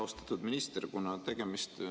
Austatud minister!